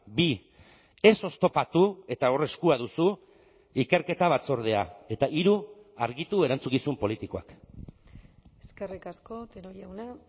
bi ez oztopatu eta hor eskua duzu ikerketa batzordea eta hiru argitu erantzukizun politikoak eskerrik asko otero jauna